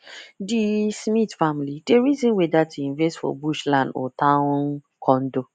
di smith family dey reason whether to invest for bush land or town condo